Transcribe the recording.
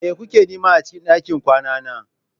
Me kuke nema a cikin ɗakin kwana na?